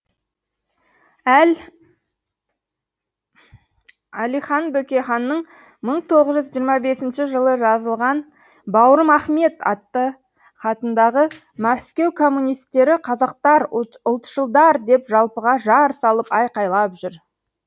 әл әлихан бөкейханның мың тоғыз жүз жиырма бесінші жылы жазылған бауырым ахмет атты хатындағы мәскеу коммунистері қазақтар ұлтшылдар деп жалпыға жар салып айқайлап жүр